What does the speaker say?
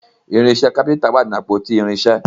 irinṣẹ kápẹ́ńtà wá nínú àpótí irinṣẹ